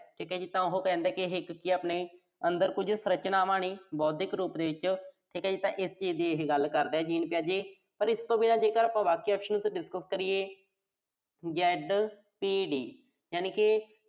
ਉਹ ਕਹਿੰਦਾ ਕਿ ਇਹ ਇੱਕ ਚੀਜ਼ ਆਪਣੇ ਅੰਦਰ ਜੋ ਸਰੰਚਨਾਵਾਂ ਨੇ, ਬੌਧਿਕ ਰੂਪ ਦੇ ਵਿੱਚ। ਫਿਰ ਕਹੀਏ ਤਾਂ ਇਹੇ ਚੀਜ਼ ਦੀ ਇਹ ਗੱਲ ਕਰਦਾ। ਪਰ ਇਸ ਤੋਂ ਬਿਨਾਂ ਜੇਕਰ ਆਪਾਂ ਬਾਕੀ options ਵੀ discuss ਕਰੀਏ ZPD ਯਾਨੀ ਕਿ